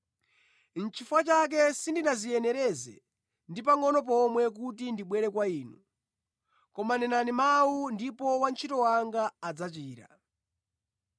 Nʼchifukwa chake sindinadziyenereze ndi pangʼono pomwe kuti ndibwere kwa inu. Koma nenani mawu, ndipo wantchito wanga adzachira.